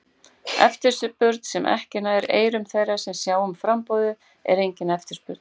Eftirspurn sem ekki nær eyrum þeirra sem sjá um framboðið, er engin eftirspurn.